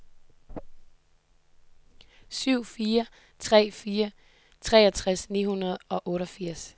syv fire tre fire treogtres ni hundrede og otteogfirs